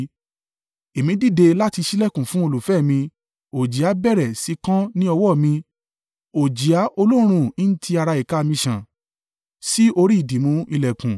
Èmi dìde láti ṣílẹ̀kùn fún olùfẹ́ mi, òjìá bẹ̀rẹ̀ sí í kán ní ọwọ́ mi, òjìá olóòórùn ń ti ara ìka mi ń sàn sí orí ìdìmú ìlẹ̀kùn.